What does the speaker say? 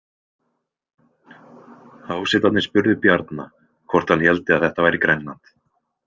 Hásetarnir spurðu Bjarna hvort hann héldi að þetta væri Grænland.